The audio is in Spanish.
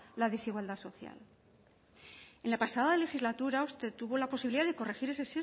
la desigualdad social en la pasada legislatura usted tuvo la posibilidad de corregir el sesgo